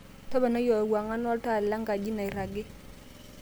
toponai ewang'an oltaa lenkaji nairagi